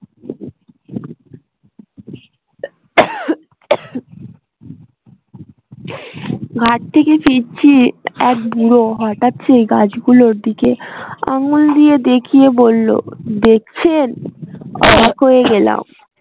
ঘাট থেকে ফিরছি এক বুড়ো হঠাৎ সেই গাছগুলোর দিকে আঙ্গুল দিয়ে দেখিয়ে বললো দেখছেন অবাক হয়ে গেলাম